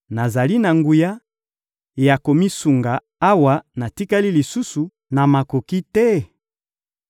Nazali na nguya ya komisunga awa natikali lisusu na makoki te?